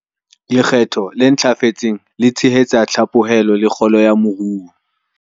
Lekgetho le ntlafetseng le tshehetsa tlhaphohelo le kgolo ya moru